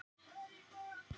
Átakið stendur til jóla.